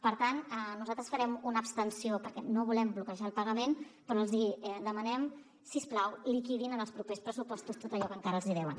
per tant nosaltres farem una abstenció perquè no volem bloquejar el pagament però els hi demanem si us plau que liquidin en els propers pressupostos tot allò que encara els hi deuen